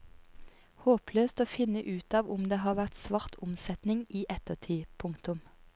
Håpløst å finne ut av om det har vært svart omsetning i ettertid. punktum